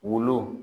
Wolo